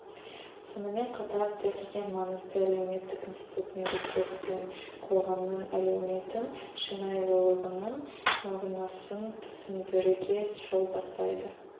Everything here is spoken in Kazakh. сонымен қатар тіл ең маңызды әлеуметтік институт мемлекет пен қоғамның әлеуметтің шынайлылығының мағынасын түсіндіруге жол бастайды